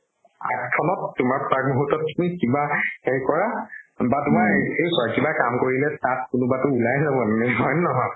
মুহুৰ্তত তুমি কিবা হেৰি কৰা বা কিবা কাম কৰিলে তাত কোনোবাতো উলাই যাব হয় নে নহয়